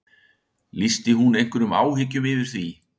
Lýsti hún einhverjum áhyggjum yfir því?